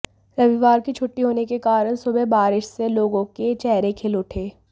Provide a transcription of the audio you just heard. रविवार की छुट्टी होने के कारण सुबह बारिश से लोगों के चेहरे खिल उठे